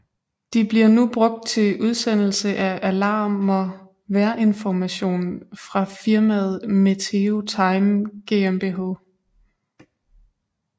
De bliver nu brugt til udsendelse af alarmer vejrinformation fra firmaet Meteo Time GmbH